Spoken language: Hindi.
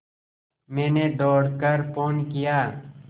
मैंने दौड़ कर फ़ोन किया